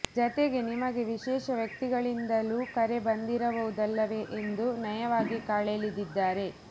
ಜತೆಗೆ ನಿಮಗೆ ವಿಶೇಷ ವ್ಯಕ್ತಿಗಳಿಂದಲೂ ಕರೆ ಬಂದಿರಬಹುದಲ್ಲವೇ ಎಂದು ನಯವಾಗಿ ಕಾಲೆಳೆದಿದ್ದಾರೆ